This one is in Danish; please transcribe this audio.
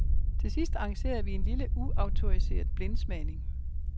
Til sidst arrangerede vi en lille, uautoriseret blindsmagning.